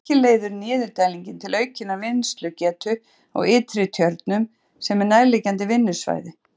Að auki leiðir niðurdælingin til aukinnar vinnslugetu á Ytri-Tjörnum sem er nærliggjandi vinnslusvæði.